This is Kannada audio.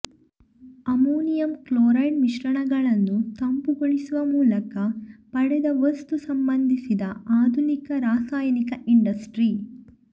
ಅಮೋನಿಯಂ ಕ್ಲೋರೈಡ್ ಮಿಶ್ರಣಗಳನ್ನು ತಂಪುಗೊಳಿಸುವ ಮೂಲಕ ಪಡೆದ ವಸ್ತು ಸಂಬಂಧಿಸಿದ ಆಧುನಿಕ ರಾಸಾಯನಿಕ ಇಂಡಸ್ಟ್ರಿ